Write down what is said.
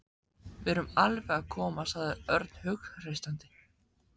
Við erum alveg að koma sagði Örn hughreystandi.